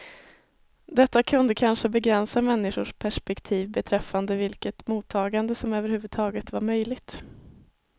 Detta kunde kanske begränsa människors perspektiv beträffande vilket mottagande som överhuvudtaget var möjligt.